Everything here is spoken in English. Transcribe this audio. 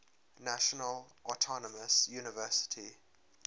national autonomous university